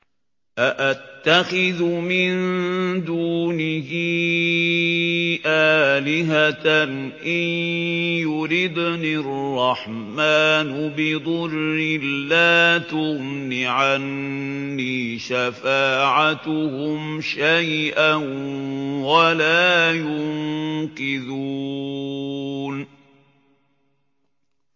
أَأَتَّخِذُ مِن دُونِهِ آلِهَةً إِن يُرِدْنِ الرَّحْمَٰنُ بِضُرٍّ لَّا تُغْنِ عَنِّي شَفَاعَتُهُمْ شَيْئًا وَلَا يُنقِذُونِ